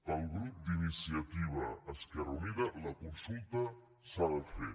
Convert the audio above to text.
pel grup d’iniciativa esquerra unida la consulta s’ha de fer